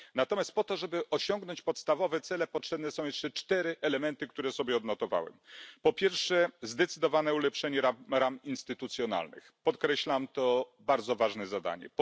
Natomiast po to, żeby osiągnąć podstawowe cele, potrzebne są jeszcze cztery elementy, które sobie odnotowałem po pierwsze, zdecydowane ulepszenie ram instytucjonalnych, podkreślam, to bardzo ważne zadanie.